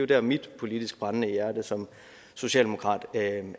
der mit politiske brændende hjerte som socialdemokrat